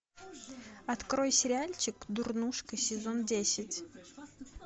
открой сериальчик дурнушка сезон десять